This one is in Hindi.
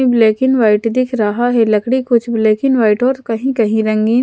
ब्लैक एंड व्हाइट दिख रहा है लकड़ी कुछ ब्लैक एंड व्हाइट और कहीं कहीं नहीं है।